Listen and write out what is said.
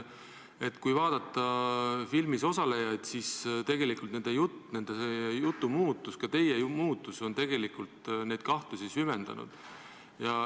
Kui vaadata filmis osalejaid, siis nende jutu muutumine, ka teie muutumine on tegelikult neid kahtlusi süvendanud.